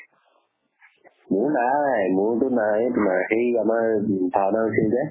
মোৰ নাই । মোৰ তো নাই । মাহি আমাৰ ভাওনা হৈছিল যে